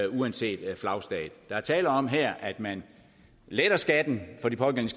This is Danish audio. uanset flagstat der er tale om her at man letter skatten for de pågældende